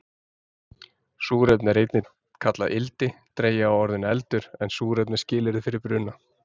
Súrefni er einnig kallað ildi, dregið af orðinu eldur, en súrefni er skilyrði fyrir bruna.